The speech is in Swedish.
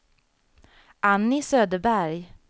Annie Söderberg